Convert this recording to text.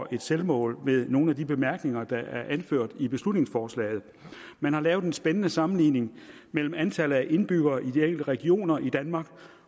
et selvmål med nogle af de bemærkninger der er anført i beslutningsforslaget man har lavet en spændende sammenligning mellem antallet af indbyggere i de enkelte regioner i danmark